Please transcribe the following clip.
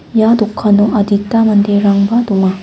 ia dokano adita manderangba donga.